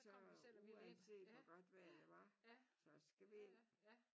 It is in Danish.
Så uanset hvor godt vejr det var så skal vi ind